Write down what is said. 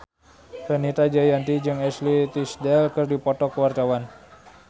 Fenita Jayanti jeung Ashley Tisdale keur dipoto ku wartawan